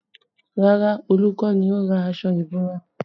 Rárá, Olu kọ́ ni ó ra aṣọ ìbora